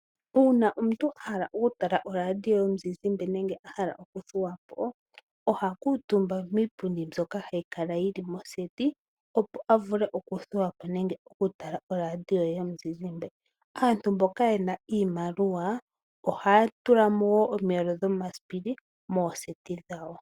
Uunafalama omuntu ahala oku tala oradio yomuzizimbe nenge ahala okuthuwapo oha kuutumba kiipundi myoka hayi kala moseti, opo a vule othuwapo nenge oku tala oradio ye yomuzizimbe. Aantu mboka yena iimaliwa ohaya tulamo wo omiyelo dhomasipili mooseti dhawo.